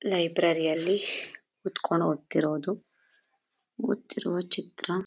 library ಅಲ್ಲಿ ಕೂತ್ಕೊಂಡ್ ಓದ್ತಿರೋದು ಓದ್ತಿರುವ ಚಿತ್ರ--